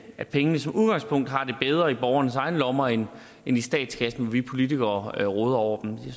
at pengene som udgangspunkt har det bedre i borgernes egne lommer end i statskassen hvor vi politikere råder over